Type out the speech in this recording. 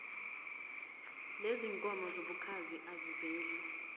lezinkomo zobukhazi aziveli